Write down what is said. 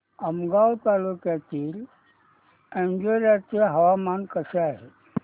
आमगाव तालुक्यातील अंजोर्याचे हवामान कसे आहे